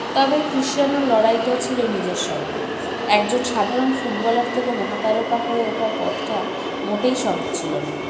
তবে কৃষ্চানোর লড়াইটা ছিল নিজের সঙ্গে একজন সাধারণ footballer থেকে মহাতারকা হয়ে ওঠার পথটা মোটেই সহজ ছিল না